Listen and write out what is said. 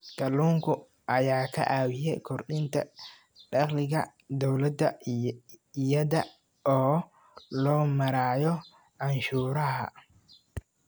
Kalluunka ayaa ka caawiya kordhinta dakhliga dowladda iyada oo loo marayo canshuuraha.